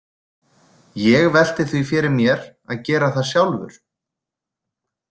Ég velti því fyrir mér að gera það sjálfur.